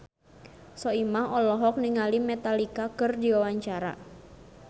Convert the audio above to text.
Soimah olohok ningali Metallica keur diwawancara